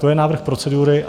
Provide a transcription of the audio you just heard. To je návrh procedury.